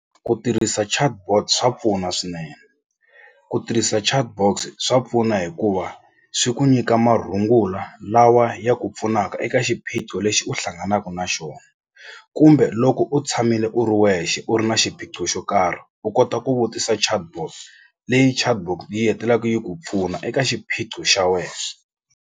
Ku tirhisa chatbot swa pfuna swinene ku tirhisa chatbox swa pfuna hikuva swi ku nyika marungula lawa ya ku pfunaka eka xiphiqo lexi u hlanganaka na na xona kumbe loko u tshamile u ri wexe u ri na xiphiqo xo karhi u kota ku vutisa chatbot leyi chatbot yi hetelaku yi ku pfuna eka xiphiqo xa wena.